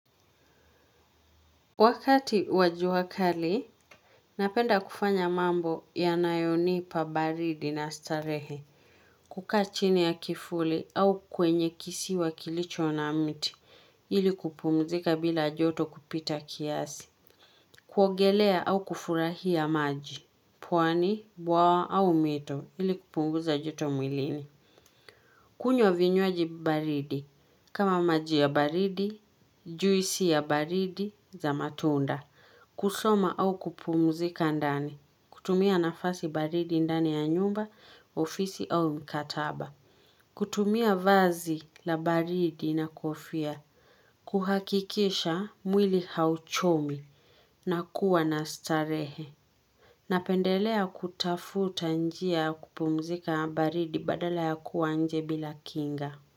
Wakati wa jua kali, napenda kufanya mambo yanayonipa baridi na starehe. Kukaa chini ya kifuli au kwenye kisiwa kilicho na miti, ili kupumzika bila joto kupita kiasi. Kuogelea au kufurahia maji, puani, bwawa au mito, ili kupunguza joto mwilini. Kunywa vinywaji baridi, kama maji ya baridi, juisi ya baridi za matunda. Kusoma au kupumzika ndani. Kutumia nafasi baridi ndani ya nyumba, ofisi au mkataba. Kutumia vazi la baridi na kofia. Kuhakikisha mwili hauchomi. Na kuwa na starehe. Napendelea kutafuta njia ya kupumzika baridi badala ya kuwa nje bila kinga.